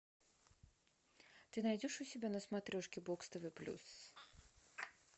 ты найдешь у себя на смотрешке бокс тв плюс